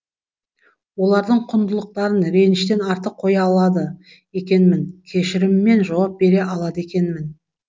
олардың құндылықтарын реніштен артық қоя алады екенмін кешіріммен жауап бере алады екенмін